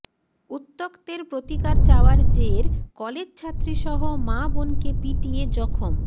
উত্ত্যক্তের প্রতিকার চাওয়ার জের কলেজছাত্রীসহ মা বোনকে পিটিয়ে জখম